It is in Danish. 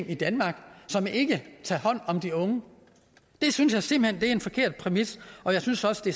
i danmark som ikke tager hånd om de unge det synes jeg simpelt en forkert præmis og jeg synes også det